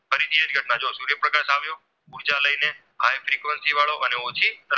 high frequency વાળો અને ઓછી